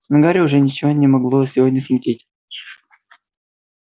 но гарри уже ничего не могло сегодня смутить